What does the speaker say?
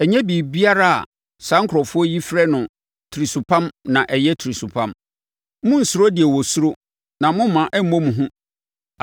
“Ɛnyɛ biribiara a saa nkurɔfoɔ yi frɛ no tirisopam na ɛyɛ tirisopam. Monnsuro deɛ wosuro, na momma ɛmmɔ mo hu.